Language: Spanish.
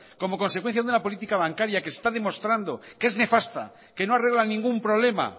como consecuencia de una política bancaria que está demostrando que es nefasta que no arregla ningún problema